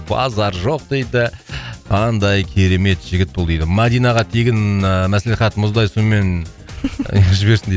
базар жоқ дейді қандай керемет жігіт бұл дейді мадинаға тегін ііі маслихат мұздай сумен жіберсін де